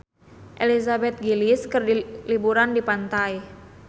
Elizabeth Gillies keur liburan di pantai